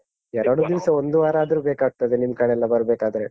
ಎರಡು ದಿವ್ಸ ಒಂದು ವಾರ ಆದ್ರೂ ಬೇಕಾಗ್ತದೆ ನಿಮ್ಕಡೆ ಎಲ್ಲ ಬರ್ಬೇಕಾದ್ರೆ.